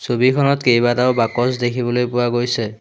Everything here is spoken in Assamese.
ছবিখনত কেইবাটাও বাকচ দেখিবলৈ পোৱা গৈছে।